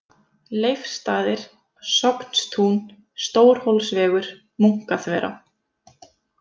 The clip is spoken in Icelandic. Leifsstaðir, Sognstún, Stórhólsvegur, Munkaþverá